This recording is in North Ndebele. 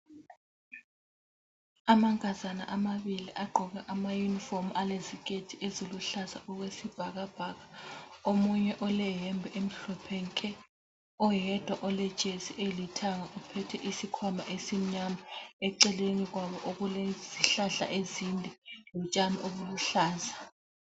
Amankazana amabili agqoke amayunifomu alesiketi esiluhlaza okwesibhakabhaka. Omunye oleyembe emhlophe nke, oyedwa olejesi elithanga uphethe isikhwama esimnyama. Eceleni kwabo kulezihlahla ezinde lotshani obuluhlaza.